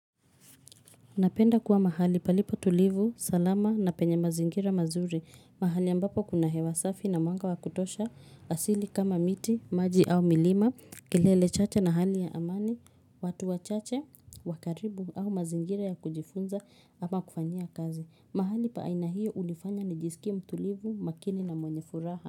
Napenda kuwa mahali palipo tulivu, salama na penye mazingira mazuri. Mahali ambapo kuna hewa safi na mwanga wa kutosha asili kama miti, maji au milima, kilele chache na hali ya amani, watu wachache, wakaribu au mazingira ya kujifunza ama kufanyia kazi. Mahali pa aina hiyo hunifanya nijisikie mtulivu, makini na mwenye furaha.